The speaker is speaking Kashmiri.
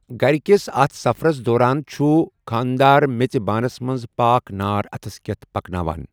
گَر کِس اَتھ سفرَس دوران چھُ خانٛدار میٚژِ بانَس منٛز پاک نار اَتھس کیٚتھ پکناوان۔